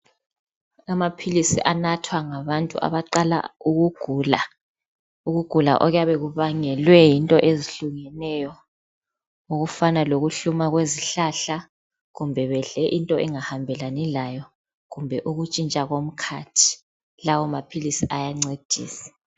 Amaphilisi anathwa ngabantu abaqala ukugula. Ukugula okuyabe kubangelwe into ezihlukeneyo. Okufana lokuhluma kwezihlahla, kumbe bedle into angahambelani layo, kumbe ukunshintsha komkhathi. Lawa maphilisi ayancedisa.